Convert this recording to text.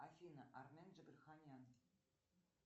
афина армен джигарханян